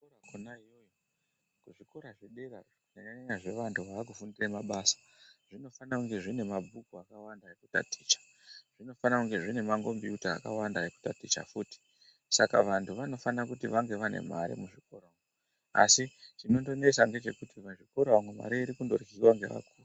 Kuzvikora zvedera kunyanya nyanya zvevantu vakufindira mabasa zvinofana kunge zvine mabhuku akawanda ekutaticha. Zvinofana kunge zvinemakombiyuta akawanda ekutaticha futi. Saka vantu vanofana kuti vange vane mare muzvikora asi chinondonesa ndechekuti muzvikora umu mare irikundo ryiwa ngevakuru.